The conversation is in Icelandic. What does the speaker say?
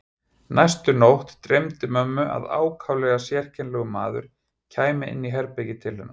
Næstu nótt dreymdi mömmu að ákaflega sérkennilegur maður kæmi inn í herbergið til hennar.